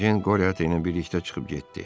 Ejen Qote ilə birlikdə çıxıb getdi.